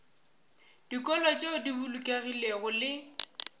dikolo tšeo di bolokegilego le